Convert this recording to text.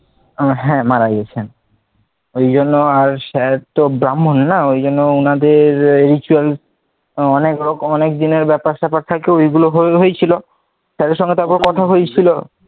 ও হ্যাঁ মারা গেছেন, এই জন্য sir তো ব্রাম্ভন না ঐ জন্য ওনাদের ritual আহ অনেক দিনের ব্যাপার স্যাপার থাকে ঐ গুলো হয়েছিল sir এর সঙ্গে তখন কথা হয়েছিল,